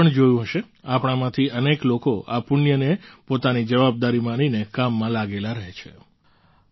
તમે પણ જોયું હશે આપણામાંથી અનેક લોકો આ પુણ્યને પોતાની જવાબદારી માનીને કામમાં લાગેલા રહે ચે